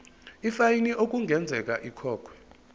ifayini okungenzeka ikhokhwe